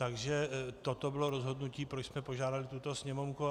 Takže toto bylo rozhodnutí, proč jsme požádali tuto Sněmovnu.